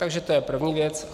Takže to je první věc.